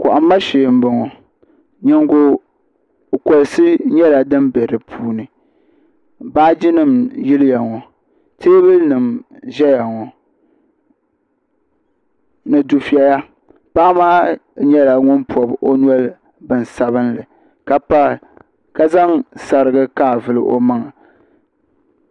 Kohamma shee n boŋɔ nyingo kukolsi nyɛla din bɛ di puuni baaji nim n yiliya ŋo teebuli nim n ʒɛya ŋo ni dufɛya paɣa maa nyɛla ŋun pobi o noli bin sabinli ka zaŋ sarigi kaavuli o maŋa